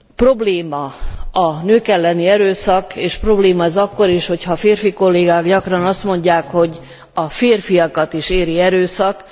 Probléma a nők elleni erőszak, és probléma ez akkor is, hogy ha férfikollégák gyakran azt mondják, hogy a férfiakat is éri erőszak.